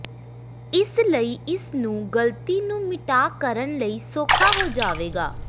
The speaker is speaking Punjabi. ਇਸ ਲਈ ਇਸ ਨੂੰ ਗਲਤੀ ਨੂੰ ਮਿਟਾ ਕਰਨ ਲਈ ਸੌਖਾ ਹੋ ਜਾਵੇਗਾ